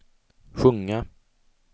sjunga